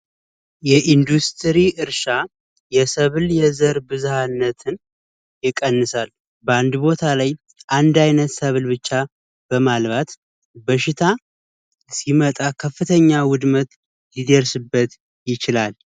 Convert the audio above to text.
የኢንዱስትሪ እርሻ የሰብል የዘር ብዝሃነት ይቀንሳል። በአንድ ቦታ አንድ አይነት ሰብል ብቻ በማልማት በሽታ ሲመጣ ከፍተኛ ውድመት ሊደርስበት ይችላል።